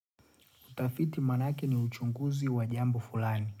Kutafiti maanake ni uchunguzi wa jambo fulani.